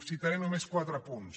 citaré només quatre punts